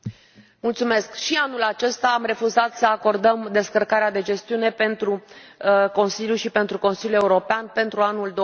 Domnule președinte, și anul acesta am refuzat să acordăm descărcarea de gestiune pentru Consiliu și pentru Consiliul European pentru anul